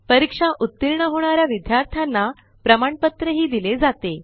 परीक्षा उतीर्ण होणा या विद्यार्थ्यांना प्रमाणपत्रही दिले जाते